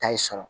Tayi sɔrɔ